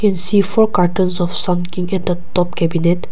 see four cottons of sun king at the top cabinet.